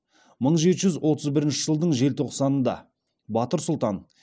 мың жеті жүз отыз бірінші жылдың желтоқсанда батыр сұлтан